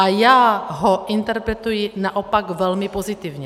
A já ho interpretuji naopak velmi pozitivně.